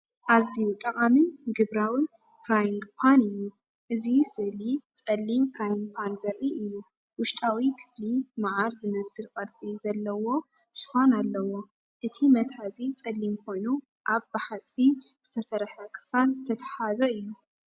ኣዝዩ ጠቓምን ግብራውን ፍራይንግ ፓን እዩ! እዚ ስእሊ ጸሊም ፍራይንግ ፓን ዘርኢ እዩ። ውሽጣዊ ክፍሊ መዓር ዝመስል ቅርጺ ዘለዎ ሽፋን ኣለዎ። እቲ መትሓዚ ጸሊም ኮይኑ ኣብ ብሓጺን ዝተሰርሐ ክፋል ዝተተሓሓዘ እዩ።